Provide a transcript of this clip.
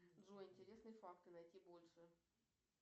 джой интересные факты найти больше